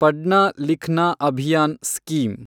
Padhna Likhna Abhiyan scheme